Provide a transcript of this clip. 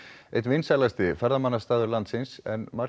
einn vinsælasti ferðamannastaður landsins en margir